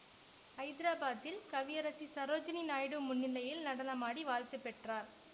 ஐதராபாத்தில் கவியரசி சரோஜினி நாயுடு முன்னிலையில் நடனமாடி வாழ்த்து பெற்றார்